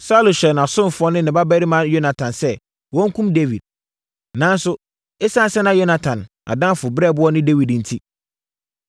Saulo hyɛɛ nʼasomfoɔ ne ne babarima Yonatan sɛ wɔnkum Dawid. Nanso, ɛsiane sɛ na Yonatan adamfo brɛboɔ ne Dawid enti,